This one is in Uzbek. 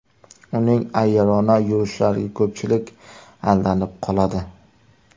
Uning ayyorona yurishlariga ko‘pchilik aldanib qoladi.